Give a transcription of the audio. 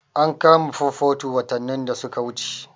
An kama 442 watannin da suka wuce.